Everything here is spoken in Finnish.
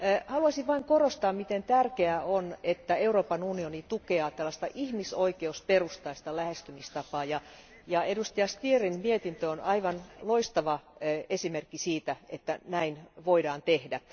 Haluaisin vain korostaa, miten tärkeää on, että Euroopan unioni tukee tällaista ihmisoikeusperustaista lähestymistapaa, ja edustaja Stierin mietintö on aivan loistava esimerkki siitä, että näin voidaan tehdä.